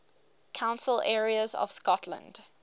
council areas of scotland